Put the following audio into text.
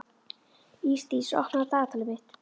Ísdís, opnaðu dagatalið mitt.